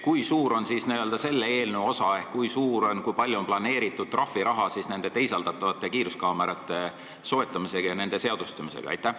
Kui suur on siis n-ö selle eelnõu osa ehk kui palju on planeeritud trahviraha seoses teisaldatavate kiiruskaamerate soetamisega ja nende seadustamisega?